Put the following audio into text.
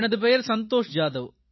எனது பெயர் சந்தோஷ் ஜாதவ்